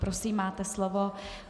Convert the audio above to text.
Prosím, máte slovo.